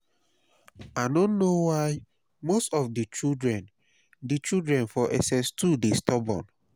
i no know why most of di children di children for ss2 dey stubborn